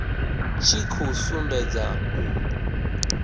tshi khou sumbedza u